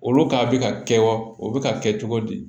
Olu ka bi ka kɛwa o bi ka kɛ cogo di